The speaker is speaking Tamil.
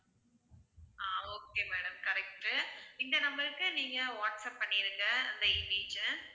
ஆஹ் okay madam correct உ இந்த number க்கு நீங்க வாட்ஸ்ஆப் பண்ணிடுங்க அந்த image அ